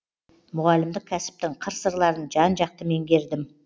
мұғалімдік кәсіптің қыр сырларын жан жақты меңгердім